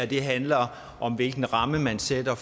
det her handler om hvilken ramme man sætter